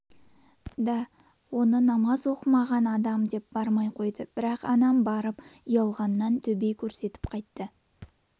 да оны намаз оқымаған адам деп бармай қойды бірақ анам барып ұялғанынан төбе көрсетіп қайтты